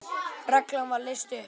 Reglan var leyst upp.